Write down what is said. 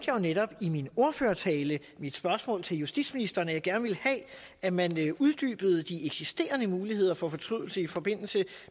jo netop i min ordførertale i mit spørgsmål til justitsministeren nævnte at jeg gerne ville have at man uddybede de eksisterende muligheder for fortrydelse i forbindelse